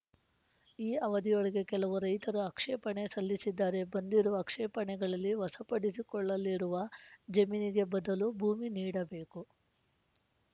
ಈ ಅವಧಿಯೊಳಗೆ ಕೆಲವು ರೈತರು ಆಕ್ಷೇಪಣೆ ಸಲ್ಲಿಸಿದ್ದಾರೆ ಬಂದಿರುವ ಆಕ್ಷೇಪಣೆಗಳಲ್ಲಿ ವಸಪಡಿಸಿಕೊಳ್ಳಲಿರುವ ಜಮೀನಿಗೆ ಬದಲು ಭೂಮಿ ನೀಡಬೇಕು